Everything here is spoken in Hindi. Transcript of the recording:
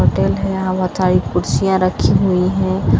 बादल है हवा थाई कुर्सियाँ रखी हुई हैं।